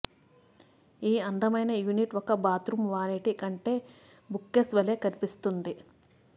ఈ అందమైన యూనిట్ ఒక బాత్రూమ్ వానిటి కంటే బుక్కేస్ వలె కనిపిస్తోంది